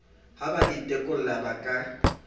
ha ba itekola ba ka